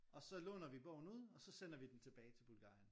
Og så låner vi bogen ud og så sender vi den tilbage til Bulgarien